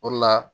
O de la